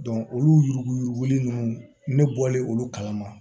olu yuruguyurugu ninnu ne bɔlen olu kalama